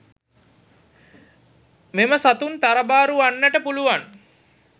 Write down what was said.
මෙම සතුන් තරබාරු වන්නට පුළුවන්.